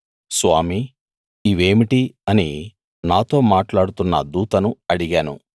స్వామీ ఇవేమిటి అని నాతో మాట్లాడుతున్న దూతను అడిగాను